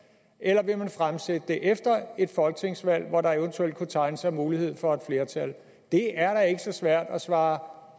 eller vil man fremsætte det efter et folketingsvalg hvor der eventuelt kunne tegne sig en mulighed for et flertal det er da ikke så svært at svare